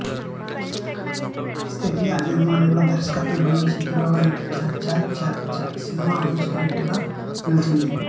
స్వీయ నిర్మాణంలో దర్శకత్వం వహించి హీరోగా నటించిన చా చా చా సినిమా మ్యూజికల్ హిట్ గా నిలిచింది